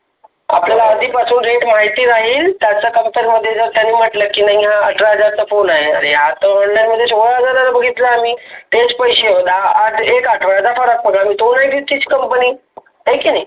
आपल्याला आधीपासून rate माहिती राहील. त्याचं फक्त जो त्यांनी म्हटलं की अठरा हजार फोन आहे. आत online मध्ये सोळा हजाराचा बघितला आम्ही तेच पैसे दा आह एक आठवड्याचा फरक पकड तो आणि तीच है की नाही?